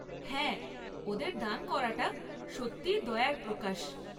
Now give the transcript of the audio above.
হ্যাঁ, ওদের দান করাটা সত্যিই দয়ার প্রকাশ।